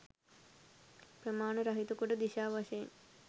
ප්‍රමාණ රහිත කොට දිශා වශයෙන්